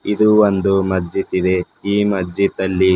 ಇದು ಒಂದು ಮಜ್ಜಿದ ಇದೆ ಈ ಮಜ್ಜಿದಲ್ಲಿ--